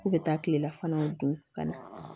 K'u bɛ taa tilelafanaw dun ka na